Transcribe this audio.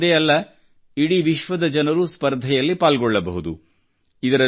ಭಾರತವೊಂದೇ ಅಲ್ಲ ಇಡೀ ವಿಶ್ವದ ಜನರು ಈ ಸ್ಪರ್ಧೆಯಲ್ಲಿ ಪಾಲ್ಗೊಳ್ಳಬಹುದು